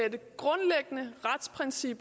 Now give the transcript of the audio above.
side